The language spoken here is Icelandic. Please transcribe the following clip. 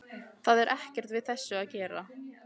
Það er ekkert við þessu að gera.